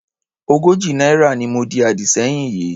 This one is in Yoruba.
Ogójì náírà ni mo di àdì sẹ́yìn yìí.